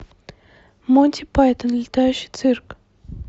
монти пайтон летающий цирк